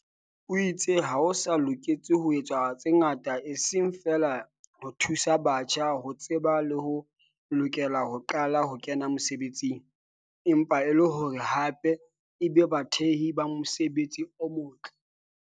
o itse ho sa loketse ho etswa tse ngata eseng feela ho thusa batjha ho tseba le ho lokela ho qala ho kena mesebetsing, empa e le hore hape e be bathehi ba mosebetsi o motle.